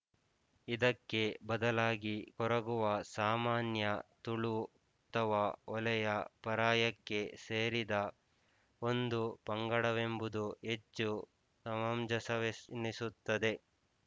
ಇದಕ್ಕೆ ಬದಲಾಗಿ ಕೊರಗುವರು ಸಾಮಾನ್ಯ ತುಳು ಅಥವಾ ಹೊಲೆಯ ಪರಯಾಕ್ಕೆ ಸೇರಿದ ಒಂದು ಪಂಗಡವೆಂಬುದು ಹೆಚ್ಚು ಸಮಂಜಸವೆನಿಸುತ್ತದೆ